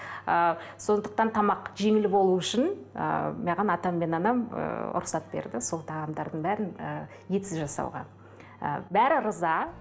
ы сондықтан тамақ жеңіл болу үшін ы маған атам мен анам ыыы рұқсат берді сол тағамдардың бәрін ы етсіз жасауға ы бәрі риза